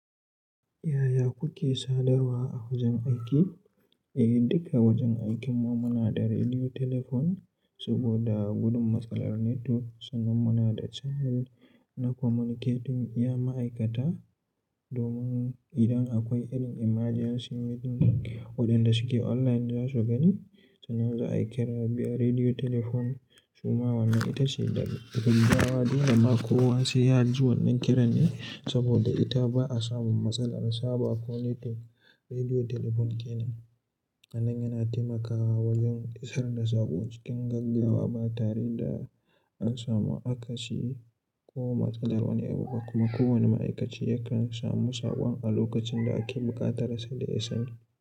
Yaya kuke sadarwa a wajen aiki? Eh, duka wajen aikinmu muna da rediyo telefon saboda gudun matsalar netuwak. Sannan muna da channel na communicating iya ma'aikata domin idan akwai irin emergency meeting waɗanda suke online za su gani sannan za a kira biya rediyo telefon. Suma wannan ita ce gaggawa dole ma kowa sai ya ji wannan kiran ne saboda ita ba a samun matsalar saba ko netuwak. Rediyo telefon kenan wannan yana taimakawa wajen isar da saƙo cikin gaggawa ba tare da an samu akasi ko matsalar wani abu ba. Kuma kowane ma'aikaci yakan samu saƙon a lokacin da ake buƙatar sa da ya sani.